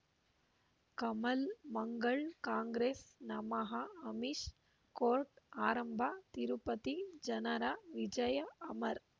ಕಮಲ್ ಮಂಗಳ್ ಕಾಂಗ್ರೆಸ್ ನಮಃ ಅಮಿಷ್ ಕೋರ್ಟ್ ಆರಂಭ ತಿರುಪತಿ ಜನರ ವಿಜಯ ಅಮರ್